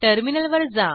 टर्मिनलवर जा